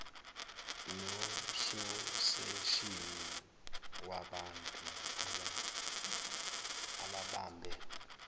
nososeshini wabantu ababambe